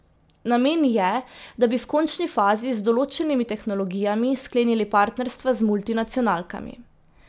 Namen je, da bi v končni fazi z določenimi tehnologijami sklenili partnerstva z multinacionalkami.